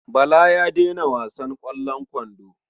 Bala ya daina wasan ƙwallon kwando.